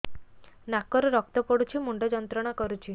ନାକ ରୁ ରକ୍ତ ପଡ଼ୁଛି ମୁଣ୍ଡ ଯନ୍ତ୍ରଣା କରୁଛି